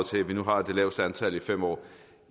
til at vi nu har det laveste antal i fem år